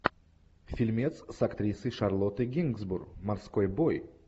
фильмец с актрисой шарлоттой генсбур морской бой